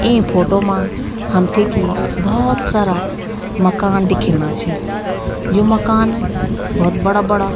ई photo मा हमथे की भोत सारा मकान दिखेणा छिन यु मकान भोत बड़ा बड़ा।